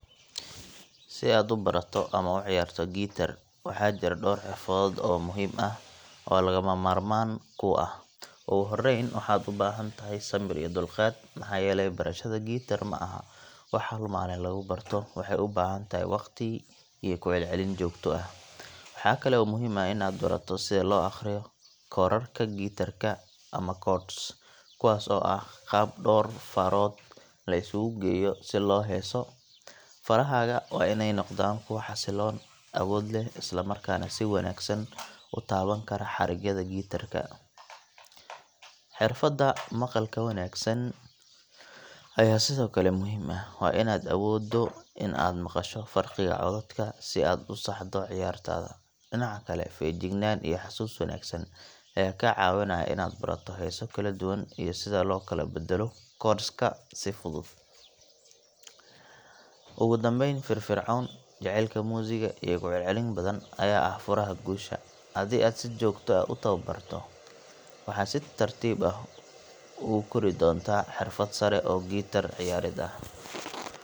Si aad u barato ama u ciyaarto gitaar, waxaa jira dhowr xirfadood oo muhiim ah oo lagama maarmaan kuu ah. Ugu horreyn, waxaad u baahan tahay samir iyo dulqaad, maxaa yeelay barashada gitaar ma aha wax hal maalin lagu barto; waxay u baahan tahay waqti iyo ku celcelin joogto ah. Waxaa kale oo muhiim ah in aad barato sida loo akhriyo koodhadhka gitaar-ka ama chords, kuwaas oo ah qaab dhawr farood la isugu geeyo si loo heeso. Farahaaga waa in ay noqdaan kuwo xasilloon, awood leh, isla markaana si wanaagsan u taaban kara xarigyada gitaar-ka. Xirfadda maqalka wanaagsan ayaa sidoo kale muhiim ah waa in aad awoodo in aad maqasho farqiga codadka si aad u saxdo ciyaartaada. Dhinaca kale, feejignaan iyo xasuus wanaagsan ayaa kaa caawinaya inaad barato heeso kala duwan iyo sida loo kala beddelo chords ka si fudud. Ugu dambeyn, firfircooni, jecaylka muusigga, iyo ku celcelin badan ayaa ah furaha guusha. Haddii aad si joogto ah u tababarto, waxaad si tartiib ah ugu kori doontaa xirfad sare oo gitaar ciyaarid ah.